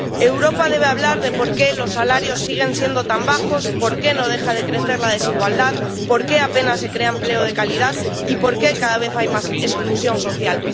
Europa debe hablar de por qué los salarios siguen siendo tan bajos, por qué no deja de crecer la desigualdad, por qué apenas se crea empleo de calidad y por qué cada vez hay más exclusión social.